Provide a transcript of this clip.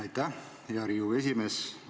Aitäh, hea Riigikogu esimees!